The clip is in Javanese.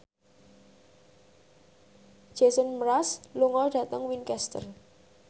Jason Mraz lunga dhateng Winchester